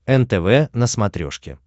нтв на смотрешке